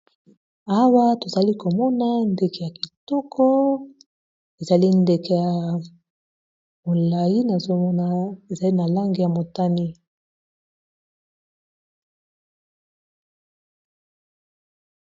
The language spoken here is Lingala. Awa tozali komona ndeke ya kitoko ezali ndeke ya molayi nazomona ezali na langi ya motani.